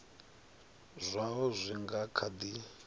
zwaho zwi nga kha di